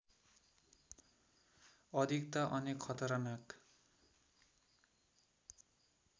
अधिकता अनेक खतरनाक